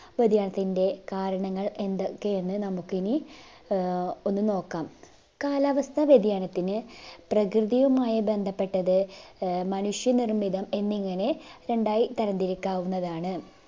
വ്യതിയാനത്തിൻറെ കാരണങ്ങൾ എന്തൊക്കെയെന്ന് നമുക്കിനി ആഹ് ഒന്നു നോക്കാം. കാലാവസ്ഥ വ്യതിയാനത്തിന് പ്രകൃതിയുമായി ബന്ധപ്പെട്ടത് ആഹ് മനുഷ്യ നിർമിതം എന്നിങ്ങനെ രണ്ടായി തരംതിരിക്കാവുന്നതാണ്